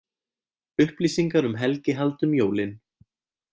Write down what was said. Upplýsingar um helgihald um jólin